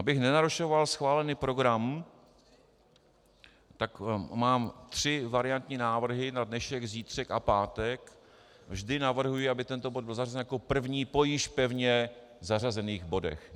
Abych nenarušoval schválený program, tak mám tři variantní návrhy: na dnešek, zítřek a pátek, vždy navrhuji, aby tento bod byl zařazen jako první po již pevně zařazených bodech.